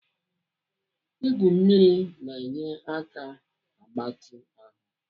Igwu mmiri na-enye aka agbatị ahụ.